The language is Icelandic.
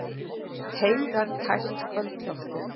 Teygar tært kvöldloftið.